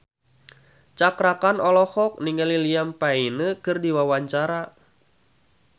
Cakra Khan olohok ningali Liam Payne keur diwawancara